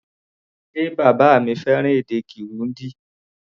Ṣe bàbá mi fẹ́ràn èdè Kirundi?